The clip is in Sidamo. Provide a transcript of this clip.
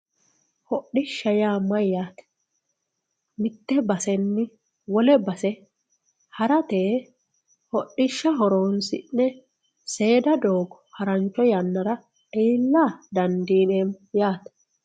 Hodhishsha yaa mayyate, mite basenni wole base harate hodhishshu horonsi'ne seeda doogo harancho yannara iilla dandiineemmo yaate.